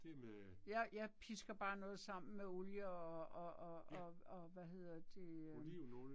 Jeg jeg pisker bare noget sammen med olie og og og og og hvad hedder det øh